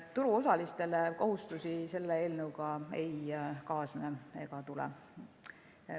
Turuosalistele kohustusi selle eelnõuga ei kaasne ega tule.